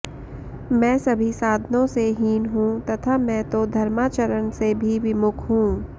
मैं सभी साधनोंसे हीन हूँ तथा मैं तो धर्माचरण से भी विमुख हूँ